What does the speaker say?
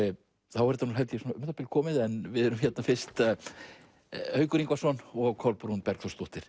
þá er þetta held ég um það bil komið en við erum hér fyrst Haukur Ingvarsson og Kolbrún Bergþórsdóttir